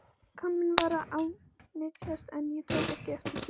Líkaminn var að ánetjast en ég tók ekki eftir því.